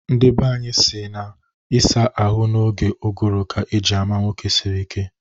Ndi banyị na-asị na ịsa ahụ n'oge ụgụrụ ka eji ama nwoke siri ike